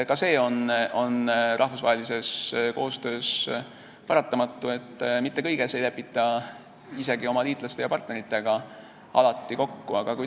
Ka see on rahvusvahelises koostöös paratamatu, et mitte kõiges ei lepita isegi oma liitlaste ja partneritega alati kokku.